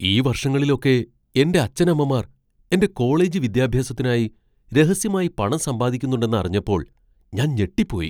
ഈ വർഷങ്ങളിലൊക്കെ എന്റെ അച്ഛനമ്മമാർ എന്റെ കോളേജ് വിദ്യാഭ്യാസത്തിനായി രഹസ്യമായി പണം സമ്പാദിക്കുന്നുണ്ടെന്ന് അറിഞ്ഞപ്പോൾ ഞാൻ ഞെട്ടിപ്പോയി.